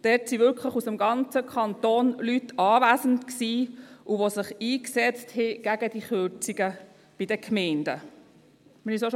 Dort waren wirklich Leute aus dem ganzen Kanton anwesend, die sich gegen diese Kürzungen bei den Gemeinden eingesetzt haben.